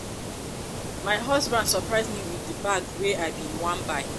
if you want make dis relationship last for you no dey order am around but dey ask am nicely